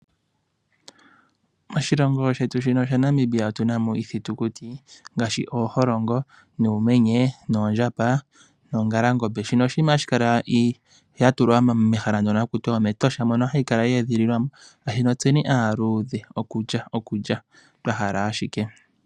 Moshilongo shetu shaNamibia otuna mo iithitukuti ngaashi ooholongo, uumenye, oondjamba noongalangombe shino oshinima hashi kala ya tulwa mehala mono ha kutiwa omEtosha. Hayi kala ye edhiilwa mo, oshoka tse aaludhe okulya ashike twa hala.